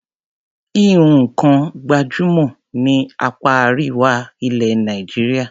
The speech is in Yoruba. Híhun nǹkan gbàjúmọ̀ ní apá Àríwá ilẹ̀ Nàìjíríà.